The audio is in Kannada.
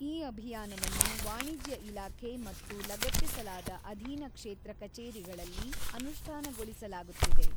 ಈ ಅಭಿಯಾನವನ್ನು ವಾಣಿಜ್ಯ ಇಲಾಖೆ ಮತ್ತು ಲಗತ್ತಿಸಲಾದ ಅಧೀನ ಕ್ಷೇತ್ರ ಕಚೇರಿಗಳಲ್ಲಿ ಅನುಷ್ಠಾನಗೊಳಿಸಲಾಗುತ್ತಿದೆ.